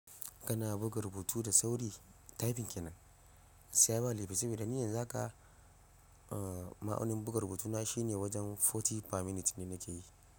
Kana buga rubutu da sauri typing kenan? Gaiskiya ba laifi saboda ni yanzu haka ma'aunin buga rubutuna shine wajen 40 pa minute ne nake yi.